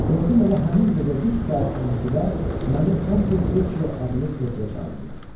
Gördüm elə həmin gecə düz saat 12-də məni Ponte Veçio adlı körpəyə çağırırlar.